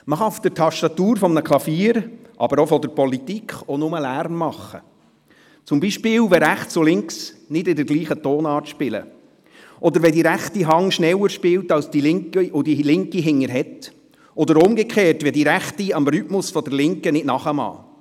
Man kann auf der Tastatur eines Klaviers oder auch der Politik auch nur Lärm machen, zum Beispiel dann, wenn Rechts und Links nicht in derselben Tonart spielen, oder wenn die rechte Hand schneller spielt als die linke, und die linke bremst, oder umgekehrt, wenn die Rechte dem Rhythmus der Linken nicht nachkommt.